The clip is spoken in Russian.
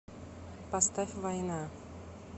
поставь война